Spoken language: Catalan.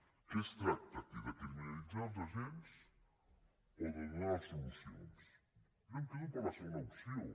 de què es tracta aquí de criminalitzar els agents o de donar les solucions jo em quedo la segona opció